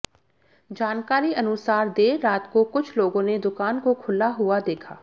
जानकारी अनुसार देर रात को कुछ लोगों ने दुकान को खुला हुआ देखा